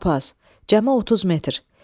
Lap az, cəmi 30 metr.